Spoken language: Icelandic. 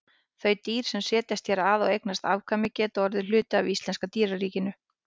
Þau dýr sem setjast hér að og eignast afkvæmi geta orðið hluti af íslenska dýraríkinu.